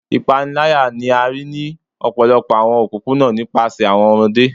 Ipanilaya ni a rii ni ọpọlọpọ awọn opopona nipasẹ awọn ọmọde